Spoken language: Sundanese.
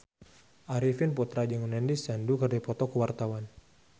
Arifin Putra jeung Nandish Sandhu keur dipoto ku wartawan